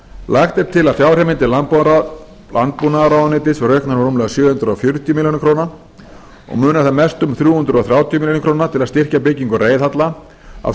lagt er til að fjárheimildir landbúnaðarráðuneytis verði auknar um rúmlega sjö hundruð fjörutíu milljónir króna og munar þar mestu um þrjú hundruð þrjátíu milljónir króna til að styrkja byggingu reiðhalla af